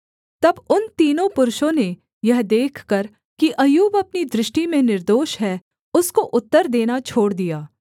तब उन तीनों पुरुषों ने यह देखकर कि अय्यूब अपनी दृष्टि में निर्दोष है उसको उत्तर देना छोड़ दिया